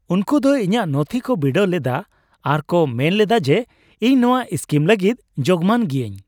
ᱩᱱᱠᱩ ᱫᱚ ᱤᱧᱟᱹᱜ ᱱᱚᱛᱷᱤ ᱠᱚ ᱵᱤᱰᱟᱹᱣ ᱞᱮᱫᱟ ᱟᱨ ᱠᱚ ᱢᱮᱱ ᱞᱮᱫᱟ ᱡᱮ ᱤᱧ ᱱᱚᱶᱟ ᱥᱠᱤᱢ ᱞᱟᱹᱜᱤᱫ ᱡᱳᱜᱢᱟᱱ ᱜᱤᱭᱟᱹᱧ ᱾